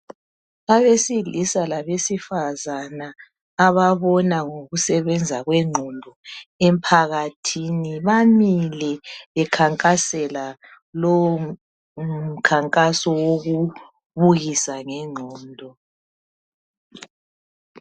Abesilisa labesifazane ababona ngokusebenza kwengqondo emphakathini bamile bekhankasela lowo mkhankaso wokubukisa ngengqondo.